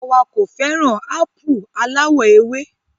Àwa kò fẹràn ápù aláwọ̀ ewé.